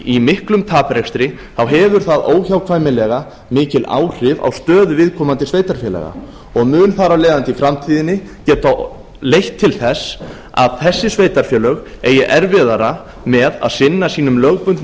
í miklum taprekstri þá hefur það óhjákvæmilega mikil áhrif á stöðu viðkomandi sveitarfélaga og mun þar af leiðandi í framtíðinni geta leitt til þess að þessi sveitarfélög eigi erfiðara með að sinna sínum lögbundnu